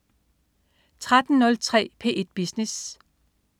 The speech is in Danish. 13.03 P1 Business